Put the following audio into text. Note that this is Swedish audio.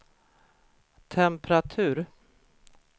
temperatur